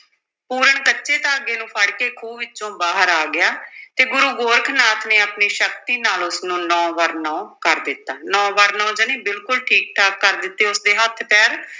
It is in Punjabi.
ਪੂਰਨ ਕੱਚੇ ਧਾਗੇ ਨੂੰ ਫੜ ਕੇ ਖੂਹ ਵਿੱਚੋਂ ਬਾਹਰ ਆ ਗਿਆ ਤੇ ਗੁਰੂ ਗੋਰਖ ਨਾਥ ਨੇ ਆਪਣੀ ਸ਼ਕਤੀ ਨਾਲ ਉਸ ਨੂੰ ਨੌਂ-ਬਰ-ਨੌਂ ਕਰ ਦਿੱਤਾ, ਨੌਂ-ਬਰ-ਨੌਂ ਜਾਣੀ ਬਿਲਕੁਲ ਠੀਕ ਠਾਕ ਕਰ ਦਿੱਤੇ ਉਸ ਦੇ ਹੱਥ ਪੈਰ।